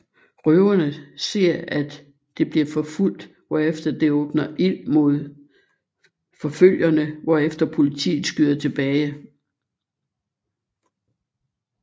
Røverne ser at det bliver forfulgt hvorefter det åbner ild mod forfølgerne hvorefter politiet skyder tilbage